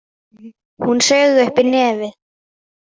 Hún saug upp í nefið.